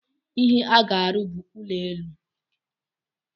Ihe aga-arụ bụ ụlọ elu.